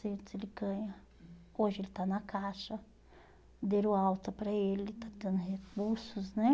ele ganha. Hoje ele está na caixa, deram alta para ele, está tendo recursos, né?